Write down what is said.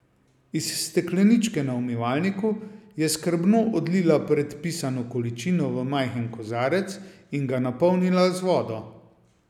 Iz stekleničke na umivalniku je skrbno odlila predpisano količino v majhen kozarec in ga napolnila z vodo.